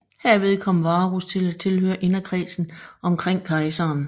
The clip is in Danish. Herved kom Varus til at tilhøre inderkredsen omkring kejseren